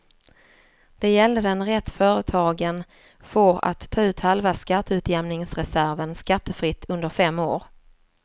Det gällde den rätt företagen får att ta ut halva skatteutjämningsreserven skattefritt under fem år.